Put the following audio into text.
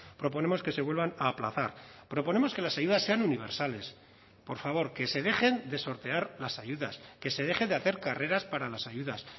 proponemos que se vuelvan a aplazar proponemos que las ayudas sean universales por favor que se dejen de sortear las ayudas que se deje de hacer carreras para las ayudas